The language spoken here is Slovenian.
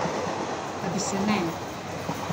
Da bi se ne!